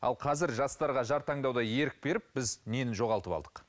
ал қазір жастарға жар таңдауда ерік беріп біз нені жоғалтып алдық